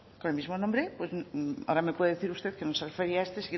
con el mismo nombre pues ahora me puede decir usted que no se refería a este